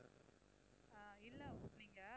இல்ல நீங்க